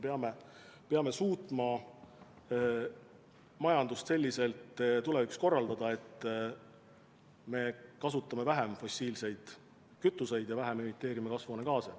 Me peame suutma majandust selliselt tulevikus korraldada, et me kasutame vähem fossiilseid kütuseid ja vähem emiteerime kasvuhoonegaase.